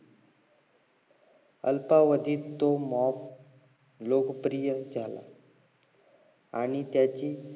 अल्पवधीत तो mop लोकप्रिय झाला आणि त्याची